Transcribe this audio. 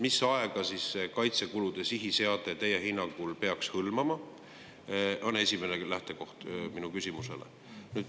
Mis aega kaitsekulude sihiseade teie hinnangul peaks hõlmama, on minu esimene küsimus.